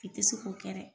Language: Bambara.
I tɛ se k'o kɛ dɛ